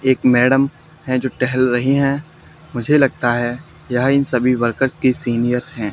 एक मैडम है जो टहल रही हैं मुझे लगता है यह इन सभी वर्कर्स की सीनियर्स हैं।